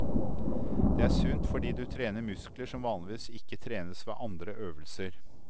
Det er sunt fordi du trener muskler som vanligvis ikke trenes ved andre øvelser.